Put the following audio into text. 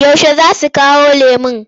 Yaushe za su kawo lemon?